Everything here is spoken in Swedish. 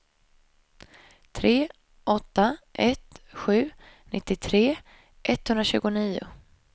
tre åtta ett sju nittiotre etthundratjugonio